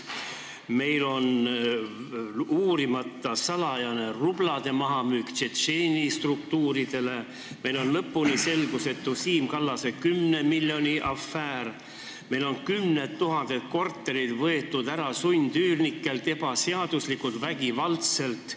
Meil on uurimata salajane rublade mahamüümine Tšetšeeni struktuuridele, meile pole lõpuni selge Siim Kallase 10 miljoni afäär, meil on kümned tuhanded korterid sundüürnikelt ära võetud ebaseaduslikult, vägivaldselt.